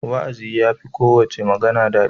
Wa'azi ya fi kowace magana daɗi.